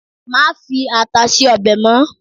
ma fi ata sí obe mo